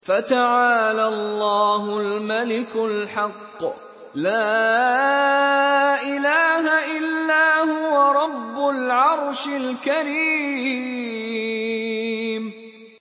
فَتَعَالَى اللَّهُ الْمَلِكُ الْحَقُّ ۖ لَا إِلَٰهَ إِلَّا هُوَ رَبُّ الْعَرْشِ الْكَرِيمِ